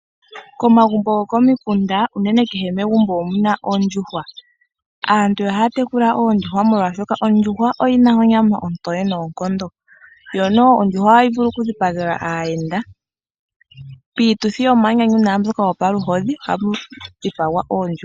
Komagumbo go komukunda, unene kehe megumbo omuna ondjuhwa. Aantu ohaya tekula oondjuhwa molwashoka ondjuhwa oyi na onyama ontowe noonkondo. Yo noho ondjuhwa ohayi vulu okudhipagelwa aayenda. Piituthi yomanyanyu naambyoka yo paluhodhi ohamu dhipagwa oondjuhwa.